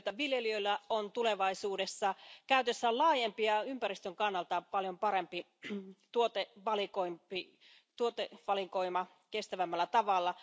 Sen myötä viljelijöillä on tulevaisuudessa käytössään laajempi ja ympäristön kannalta paljon parempi tuotevalikoima kestävämmällä tavalla.